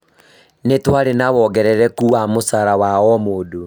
Nĩ twarĩ na wongerereku wa mũcara wa omũndũ